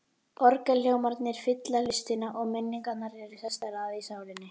Orgelhljómarnir fylla hlustina, og minningarnar eru sestar að í sálinni.